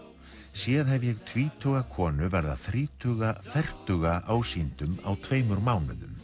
séð hef ég tvítuga konu verða þrítuga fertuga ásýndum á tveimur mánuðum